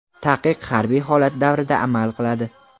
Taqiq harbiy holat davrida amal qiladi.